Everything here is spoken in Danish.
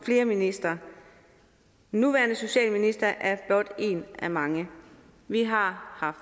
flere ministre den nuværende socialminister er blot en af mange vi har